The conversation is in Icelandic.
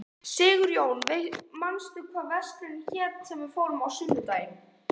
Sigurjón, manstu hvað verslunin hét sem við fórum í á sunnudaginn?